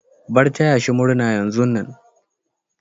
Bar taya shi murna yanzun nan.